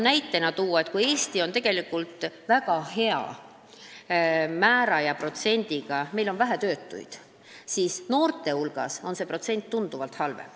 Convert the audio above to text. Näitena tahan veel tuua, et kui Eestis on üldine töötuse protsent väga hea, st meil on vähe töötuid, siis noorte hulgas on see protsent tunduvalt halvem.